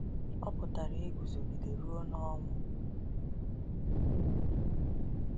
Ọ pụtara iguzogide ruo n’ọnwụ.